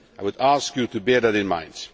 I would ask you to bear that in mind.